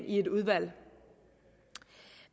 i et udvalg